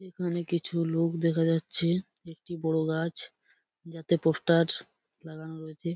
এখানে কিছু লোক দেখা যাচ্ছে। একটি বড় গাছ যাতে পোস্টার লাগানো রয়েছে।